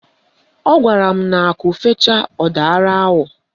Ọ gwara m na akụ fechaa, ọ dara awọ